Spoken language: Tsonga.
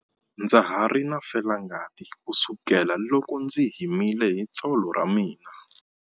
Ndza ha ri na felangati kusukela loko ndzi himile hi tsolo ra mina.